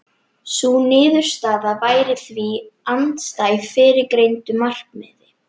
Sú niðurstaða væri því andstæð fyrrgreindu markmiði.